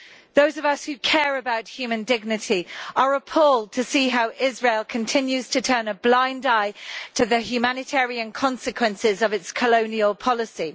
Those of us who care about human dignity are appalled to see how Israel continues to turn a blind eye to the humanitarian consequences of its colonial policy.